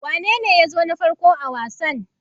Wanene ya zo na farko a wasan?